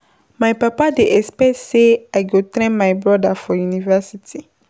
My papa dey expect sey I go train my broda for university.